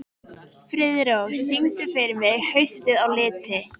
Friðrós, syngdu fyrir mig „Haustið á liti“.